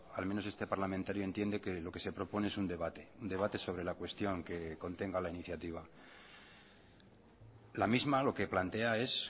al menos este parlamentario entiende que lo que se propone es un debate un debate sobre la cuestión que contenga la iniciativa la misma lo que plantea es